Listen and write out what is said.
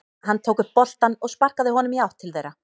Hann tók upp boltann og sparkaði honum í átt til þeirra.